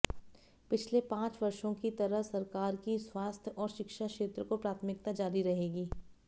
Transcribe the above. पिछले पांच वर्षों की तरह सरकार की स्वास्थ्य और शिक्षा क्षेत्र को प्राथमिकता जारी रहेगी